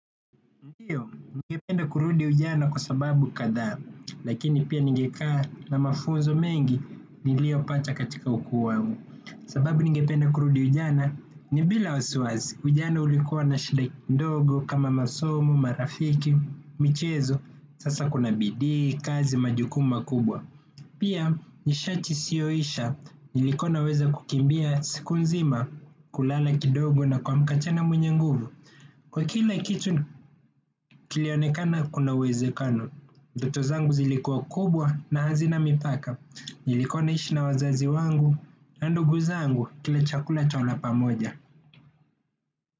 Ndiyo ningependa kurudi ujana kwa sababu kadhaa lakini pia ningekaa na mafunzo mengi niliyopata katika ukuu wangu sababu ningependa kurudi ujana ni bila wasiwasi ujana ulikua na shida ndogo kama masomo marafiki michezo sasa kuna bidii kazi majukumu makubwa. Pia, nishati isiyo isha, nilikuwa naweza kukimbia siku nzima kulala kidogo na kuamka tena mwenye nguvu. Kwa kila kitu kilionekana kuna uwezekano, ndoto zangu zilikua kubwa na hazina mipaka, nilikua naishi na wazazi wangu, na ndugu zangu kila chakula twala pamoja.